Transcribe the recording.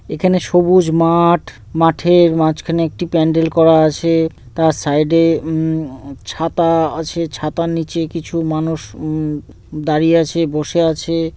এখানে সবুজ মাঠ মাঠের মাঝখানে একটি প্যান্ডেল করা আছে তার সাইড -এ উমম-উউউ ছাতা আছে ছাতার নিচে কিছু মানুষ উমম দাঁড়িয়ে আছে বসে আছে।